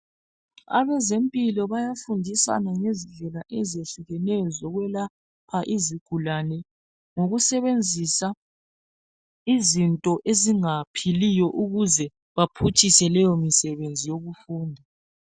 Abezempilo bayafundisana ngezindlela ezehlukeneyo zokwelapha izigulane ngokusebenzisa izinto ezingaphiliyo ukuze baphutshise leyo misebenzi yokufunda.